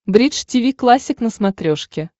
бридж тиви классик на смотрешке